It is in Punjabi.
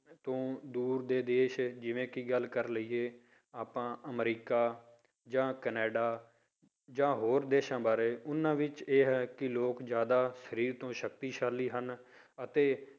ਤੋਂ ਦੂਰ ਦੇ ਦੇਸ ਜਿਵੇਂ ਕਿ ਗੱਲ ਕਰ ਲਈਏ ਆਪਾਂ ਅਮਰੀਕਾ ਜਾਂ ਕੈਨੇਡਾ ਜਾਂ ਹੋਰ ਦੇਸਾਂ ਬਾਰੇ, ਤਾਂ ਉਹਨਾਂ ਵਿੱਚ ਇਹ ਹੈ ਕਿ ਲੋਕ ਜ਼ਿਆਦਾ ਸਰੀਰ ਤੋਂ ਸਕਤੀਸ਼ਾਲੀ ਹਨ ਅਤੇ